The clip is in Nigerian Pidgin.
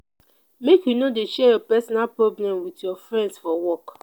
make you no dey share your personal problem wit your friends for work.